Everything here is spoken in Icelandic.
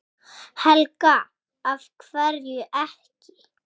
Helga: Af hverju ekki?